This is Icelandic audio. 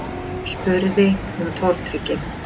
spurði hún tortryggin.